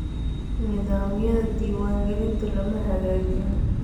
Nidaamyada diiwaangelinta lama hagaajin